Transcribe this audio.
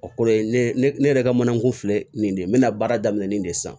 O kɔrɔ ye ne ne yɛrɛ ka manakun filɛ nin de ye n bɛna baara daminɛ nin de san